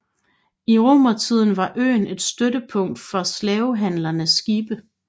I romertiden var øen et støttepunkt for slavehandlernes skibe